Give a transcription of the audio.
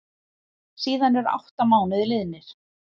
Síðan eru átta mánuðir liðnir.